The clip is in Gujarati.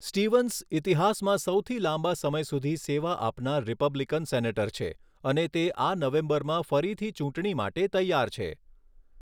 સ્ટીવન્સ ઇતિહાસમાં સૌથી લાંબા સમય સુધી સેવા આપનાર રિપબ્લિકન સેનેટર છે અને તે આ નવેમ્બરમાં ફરીથી ચૂંટણી માટે તૈયાર છે.